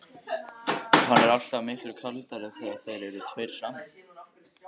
Hann er alltaf miklu kaldari þegar þeir eru tveir saman.